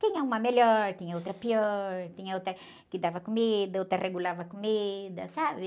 Tinha uma melhor, tinha outra pior, tinha outra que dava comida, outra regulava a comida, sabe?